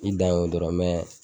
I dan ye o dɔrɔn